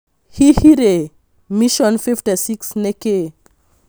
Hihi rĩ "Mission 56" nĩkĩ?